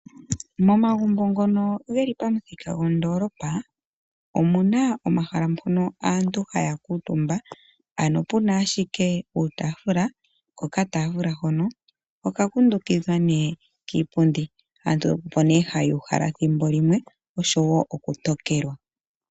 Momagumbo ngono geli pamuthika gondolopa omuna omahala mpono aantu haya kuutumba, ano puna ashike uutafula, ko okatafula hono oku kundukidhwa nee kiipundi. Aantu opo nee haya uhala thimbolimwe oshowo okutokelwa.